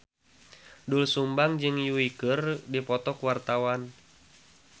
Doel Sumbang jeung Yui keur dipoto ku wartawan